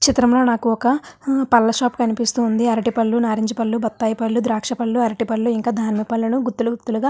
ఈ చిత్రం లొ నాక ఒక్క పండ్ల షాప్ కనిపిస్తూ వుంది ఆరటి పండుల్లు భాతాయి పండుల్లు నారింజ పండుల్లు ద్రాక్ష పండుల్లు ఇంకా దానిమ పండుల్లు గుతూగుతులగా--